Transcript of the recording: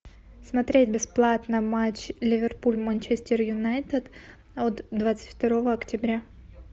смотреть бесплатно матч ливерпуль манчестер юнайтед от двадцать второго октября